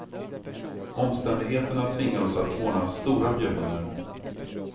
Omständigheterna tvingar oss att ordna stora bjudningar.